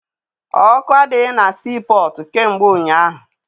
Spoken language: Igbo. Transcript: Ọkụ adịghị na sii pọtụ kamgbe ụnyaahụ.